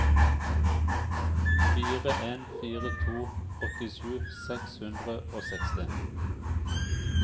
fire en fire to åttisju seks hundre og seksti